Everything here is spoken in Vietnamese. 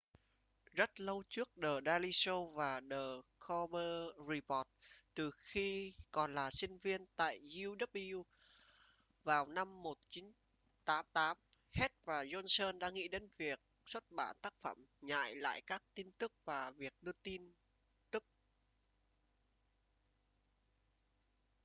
rất lâu trước the daily show và the colbert report từ khi còn là sinh viên tại uw vào năm 1988 heck và johnson đã nghĩ đến việc xuất bản tác phẩm nhại lại các tin tức và việc đưa tin tức